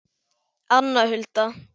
Anna Hulda.